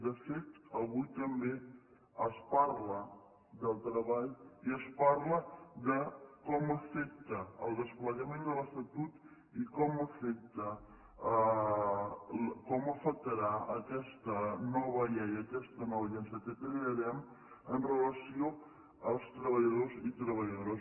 de fet avui també es parla del treball i es parla de com afecta el desplegament de l’estatut i com afecta com afectarà aquesta nova llei aquesta nova agència que crearem amb relació als treballadors i treballadores